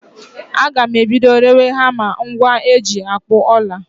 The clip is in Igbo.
Agam ebido rewe hama, ngwa eji akpụ ọla